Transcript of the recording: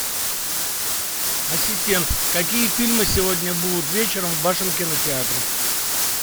ассистент какие фильмы сегодня будут вечером в вашем кинотеатре